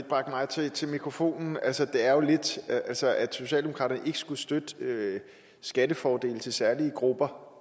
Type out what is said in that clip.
bragte mig til til mikrofonen altså at altså at socialdemokratiet ikke skulle støtte støtte skattefordele til særlige grupper